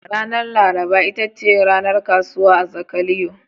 Ranar laraba ita ce ranar kasuwa a Zakaliyo.